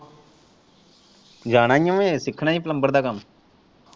ਜਾਣਾ ਹੀ ਹੈ ਸਿੱਖਣਾ ਹੀ ਹੈ ਪਲੰਬਰ ਦਾ ਕੰਮ।